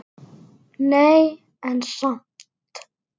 Nei, en samt.